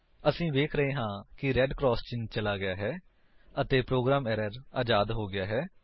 ਅਸੀ ਵੇਖ ਰਹੇ ਹਾਂ ਕਿ ਰੇਡ ਕਰਾਸ ਚਿੰਨ੍ਹ ਚਲਾ ਗਿਆ ਹੈ ਅਤੇ ਪ੍ਰੋਗਰਾਮ ਏਰਰ ਅਜ਼ਾਦ ਹੋ ਗਿਆ ਹੈ